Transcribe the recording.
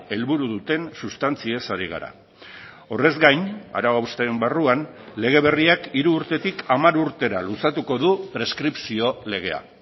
helburu duten sustantziez hari gara horrez gain arau hausteen barruan lege berriak hiru urtetik hamar urtera luzatuko du preskripzio legea